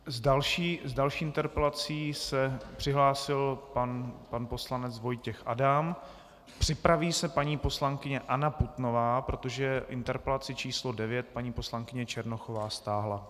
S další interpelací se přihlásil pan poslanec Vojtěch Adam, připraví se paní poslankyně Anna Putnová, protože interpelaci číslo 9 paní poslankyně Černochová stáhla.